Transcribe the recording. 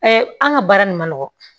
an ka baara nin man nɔgɔ